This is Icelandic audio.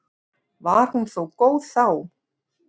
Var hún þó góð þá.